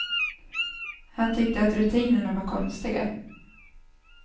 Han tyckte att rutinerna var konstiga.